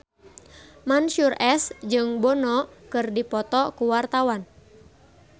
Mansyur S jeung Bono keur dipoto ku wartawan